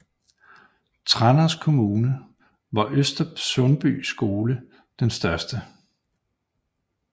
Tranders kommune var Øster Sundby skole den største